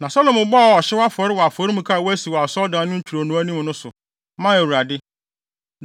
Na Salomo bɔɔ ɔhyew afɔre wɔ afɔremuka a wasi wɔ Asɔredan no ntwironoo no anim no so, maa Awurade.